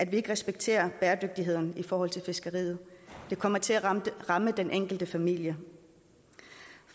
vi respekterer bæredygtigheden i forhold til fiskeriet det kommer til at ramme den enkelte familie